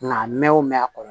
Nka mɛ o mɛn a kɔnɔ